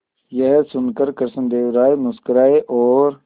यह सुनकर कृष्णदेव राय मुस्कुराए और